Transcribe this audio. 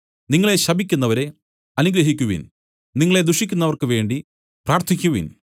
നിങ്ങളെ ശപിക്കുന്നവരെ അനുഗ്രഹിക്കുവിൻ നിങ്ങളെ ദുഷിക്കുന്നവർക്ക് വേണ്ടി പ്രാർത്ഥിക്കുവിൻ